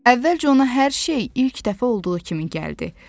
Əvvəlcə ona hər şey ilk dəfə olduğu kimi gəldi.